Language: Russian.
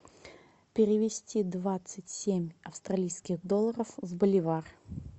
перевести двадцать семь австралийских долларов в боливар